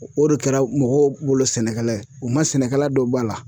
O de kɛra mɔgɔw wolo sɛnɛkɛla ye. U ma sɛnɛkɛlaw don ba la.